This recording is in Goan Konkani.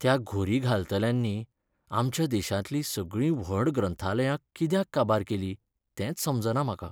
त्या घुरी घालतल्यांनी आमच्या देशांतलीं सगळीं व्हड ग्रंथालयां कित्याक काबार केलीं तेंच समजना म्हाका.